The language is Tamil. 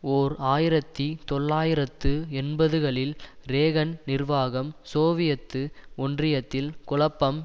ஓர் ஆயிரத்தி தொள்ளாயிரத்து எண்பதுகளில் றேகன் நிர்வாகம் சோவியத்து ஒன்றியத்தில் குழப்பம்